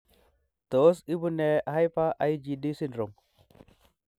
Tos ibunee Hyper IgD syndrome?